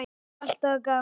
Alltaf gaman.